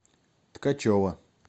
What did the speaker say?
ткачева